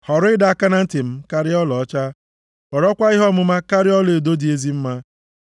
Họrọ ịdọ aka na ntị m karịa ọlaọcha họrọkwa ihe ọmụma karịa ọlaedo dị ezi mma.”